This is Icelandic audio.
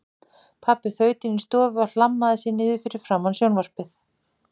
Pabbi þaut inní stofu og hlammaði sér niður fyrir framan sjónvarpið.